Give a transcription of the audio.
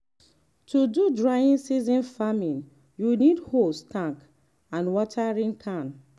to do dry season farming you need hose tank and watering can.